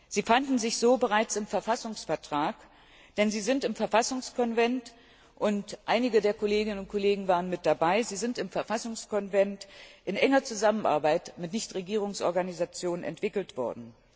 Sie fanden sich so bereits im Verfassungsvertrag, denn sie sind im Verfassungskonvent einige der Kolleginnen und Kollegen waren mit dabei in enger Zusammenarbeit mit Nichtregierungsorganisationen entwickelt worden.